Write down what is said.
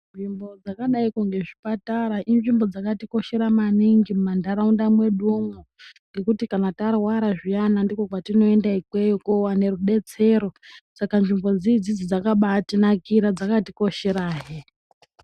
Nzvimbo dzakadaikwo ngezvipatara inzvimbo dzakatikoshera maningi mumantaraunda mwedumwo, ngekuti kana tarwara zviyana ndikwo kwatinoenda ikweyo kowane rudetsero. Saka nzvimbo dzidzi dzakabatinakira dzakatikosherahe.